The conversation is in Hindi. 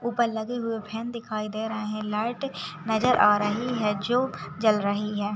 ऊपर लगे हुए फैन दिखाई दे रहे हैं लाइट नजर आ रही है जल रही है।